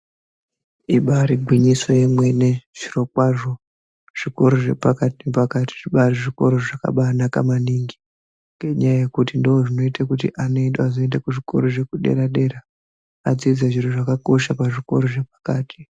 Ibari gwinyiso remene Zviro kwazvo zvikora zvepakati nepakati zvava zvikora zvakanaka maningi ngenyaya yekuti ndozvinoita kuti anoenda kuzvikora zvekudera dera zviro zvakakosha pazvikora zvepakati.